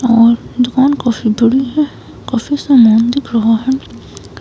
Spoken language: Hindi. और दुकान काफी धुली है। काफी सामान दिख रहा हैं।